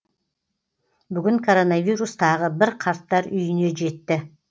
бүгін коронавирус тағы бір қарттар үйіне жетті